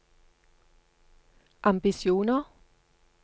ambisjoner